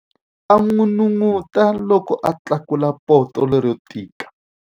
A n'unun'uta loko a tlakula poto lero tika.